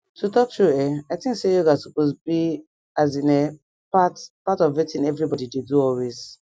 to talk true[um]i think say yoga supose be as in[um]part part of wetin everybodi dey do always